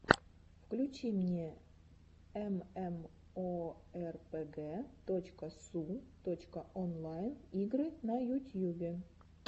включи мне эмэмоэрпэгэ точка су точка онлайн игры на ютьюбе